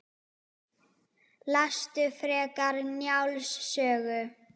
Lestu frekar Njáls sögu